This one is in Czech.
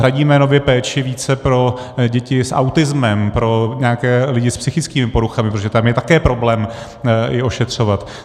Hradíme nově péči více pro děti s autismem, pro nějaké lidi s psychickými poruchami, protože tam je také problém je ošetřovat.